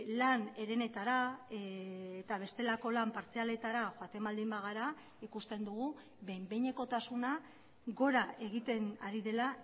lan herenetara eta bestelako lan partzialetara joaten baldin bagara ikusten dugu behin behinekotasuna gora egiten ari dela